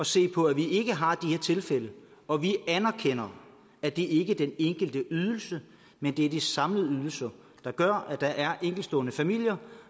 se på at vi ikke har de her tilfælde og vi anerkender at det ikke er den enkelte ydelse men det er de samlede ydelser der gør at der er enkeltstående familier